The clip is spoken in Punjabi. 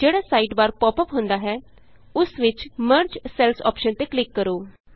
ਜਿਹੜਾ ਸਾਈਡਬਾਰ ਪਾਪ ਅੱਪ ਹੁੰਦਾ ਹੈ ਉਸ ਵਿਚ ਮਰਜ ਸੈਲਜ਼ ਅੋਪਸ਼ਨ ਤੇ ਕਲਿਕ ਕਰੋ